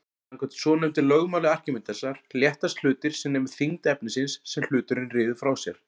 Samkvæmt svonefndu lögmáli Arkímedesar léttast hlutir sem nemur þyngd efnisins sem hluturinn ryður frá sér.